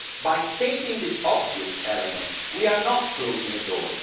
By stating this obvious element, we are not closing a door.